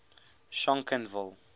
schonkenville